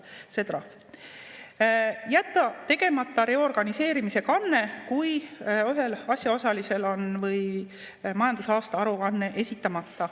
jätta tegemata reorganiseerimise kanne, kui ühel asjaosalisel on majandusaasta aruanne esitamata.